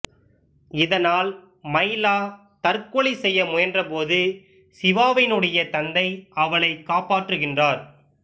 இதனால் மைலா தற்கொலை செய்ய முயன்றபோது சிவாவினுடைய தந்தை அவளை காப்பாற்றுகின்றார்